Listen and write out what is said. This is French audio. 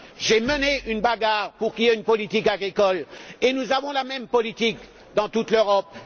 J'ai mené une bagarre pour qu'il y ait une politique agricole et nous avons aujourd'hui la même politique dans toute l'Europe.